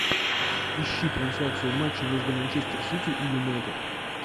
ищи трансляцию матча между манчестер сити и юнайтед